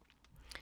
DR K